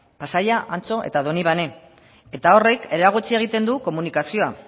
pasaia antxo eta donibane eta horrek eragotzi egiten du komunikazioa